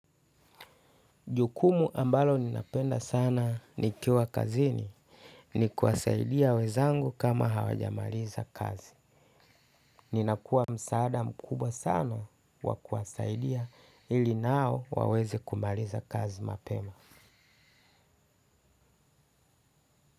Jukumu ambalo ninapenda sana nikiwa kazini ni kuwasaidia wezangu kama hawajamaliza kazi. Ninakua msaada mkubwa sana wa kuwasaidia ili nao waweze kumaliza kazi mapema.